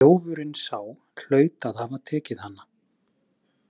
Þjófurinn sá hlaut að hafa tekið hana.